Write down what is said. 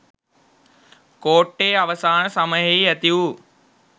කෝට්ටේ අවසාන සමයෙහි ඇතිවු